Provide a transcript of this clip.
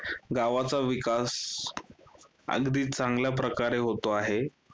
गावचा विकास अगदी चांगल्याप्रकारे होतो आहे.